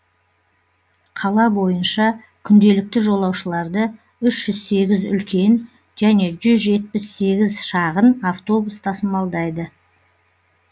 қала бойынша күнделікті жолаушыларды үш жүз сегіз үлкен және жүз жетпіс сегіз шағын автобус тасымалдайды